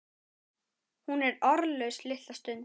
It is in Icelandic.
Hún er orðlaus litla stund.